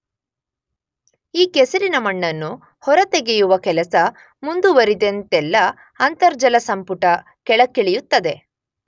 ಈ ಕೆಸರಿನ ಮಣ್ಣನ್ನು ಹೊರ ತೆಗೆಯುವ ಕೆಲಸ ಮುಂದುವರಿದಂತೆಲ್ಲ ಅಂತರ್ಜಲಸಂಪುಟ ಕೆಳಕ್ಕಿಳಿಯುತ್ತದೆ.